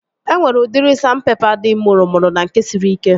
E nwere udiri sandpepa dị mụrụmụrụ na nke siri ike